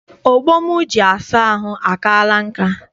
Ogbo m ji asa ahụ akaala nka.